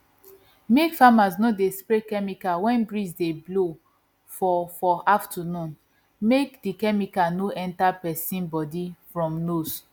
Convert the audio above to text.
make farmers no dey spray chemical when breeze dey blow for for afternoon make the chemical no enter person bodyfrom nose